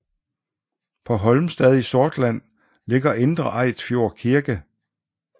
På Holmstad i Sortland ligger Indre Eidsfjord kirke